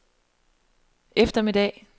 eftermiddag